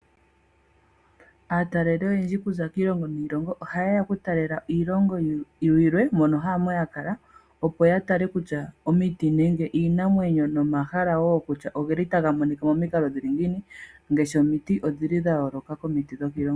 Aataleli oyendji okuza kiilongo niilongo oha ye ya oku tala iilongo yilwe mono haamo ya kala . Opo ya tale tutya omiti nenge iinamwenyo nomahala woo kutya ogeli taga monika momikalo dhatya ngiini. Ngaashi omiti odhili dha yooloka komiti dhokiilongo yawo.